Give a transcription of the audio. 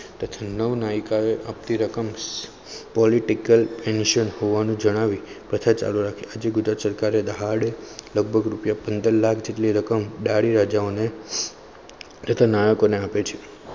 નવ નાયક political tension હોવાનું જણાવી પાછા કથા ચાલુ રાખી ગુજરાત સરકાર હાર્દ લગભગ રૂપિયા પંદર lakh જેટલી રકમ દાડી રાજા તથા નાયકો. ને આપે છે